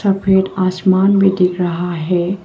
सफेद आसमान भी दिख रहा है।